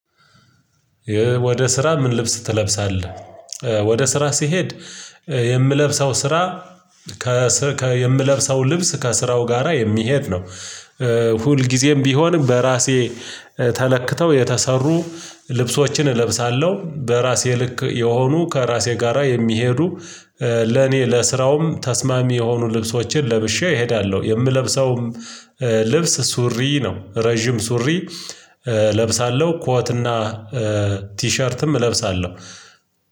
ወደ ስራ ምን ልብስ ትለብሳለህ? ወደ ስራ ሲሄድ የምለብሰው ስራ ከ የምለብሰው ልብስ ከስራው ጋራ የሚሄድ ነው። ሁል ጊዜም ቢሆንም በራሴ ተለክተው የተሰሩ ልብሶችን እለብሳለሁ በራሴ ልክ የሆኑ ከራሴ ጋራ የሚሄዱ ለኔ ለስራውም ተስማሚ የሆኑ ልብሶችን ለብሼ እሄዳለሁ። የምለብሰውም ልብስ ሱሪ ነው ረጅም ሱሪ እለብሳለሁ ኮትና ቲሸርትም እለብሳለሁ።